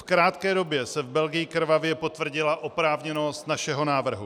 V krátké době se v Belgii krvavě potvrdila oprávněnost našeho návrhu.